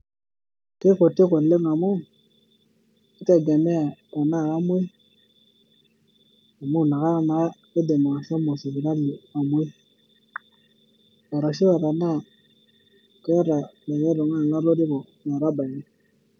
Keikutik oleng amu kitegemea tenaa kamuoi amu inakata naa aidim ashomo sipitali amuoi. Arashua tenaa keeta likae tung`ani latoriko metabaiki.